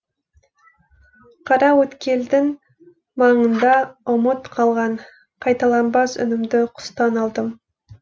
қараөткелдің маңында ұмыт қалған қайталанбас үнімді құстан алдым